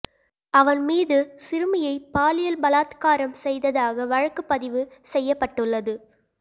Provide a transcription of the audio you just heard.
அவன் மீது சிறுமியை பாலியல் பலாத்காரம் செய்ததாக வழக்கு பதிவு செய்யப்பட்டுள்ளது